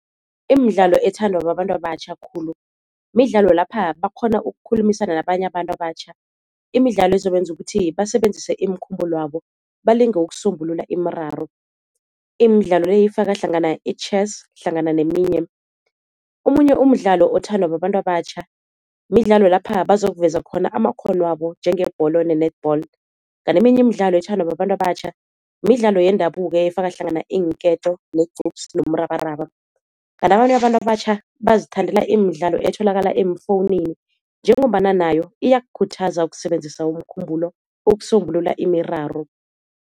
Imidlalo ethandwa babantu abatjha khulu midlalo lapha bakghona ukukhulumisana nabanye abantu abatjha, imidlalo ezobenza ukuthi basebenzise imikhumbulo yabo balinge ukusombulula imiraro, imidlalo le ifaka hlangana i-chess hlangana neminye. Omunye umdlalo othandwa babantu abatjha midlalo lapha bazokuveza khona amakghono wabo njengebholo ne-netball. Kanti eminye imidlalo ethandwa babantu abatjha midlalo yendabuko efaka hlangana iinketo, negqupsi nomrabaraba. Kanti abanye abantu abatjha bazithandela imidlalo etholakala emfowunini njengombana nayo iyakukhuthaza ukusebenzisa umkhumbulo ukusombulula imiraro.